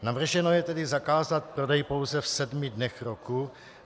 Navrženo je tedy zakázat prodej pouze v sedmi dnech roku.